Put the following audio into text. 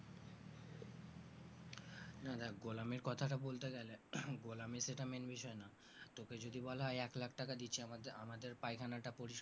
হ্যাঁ দেখ গোলামীর কথাটা বলতে গেলে গোলামী সেটা main বিষয় না তোকে যদি বলা হয় এক লাখ টাকা দিচ্ছি আমাদের আমাদের পায়খানাটা পরিস্কার